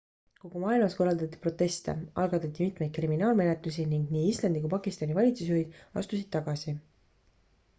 kogu maailmas korraldati proteste algatati mitmeid kriminaalmenetlusi ning nii islandi kui pakistani valitsusjuhid astusid tagasi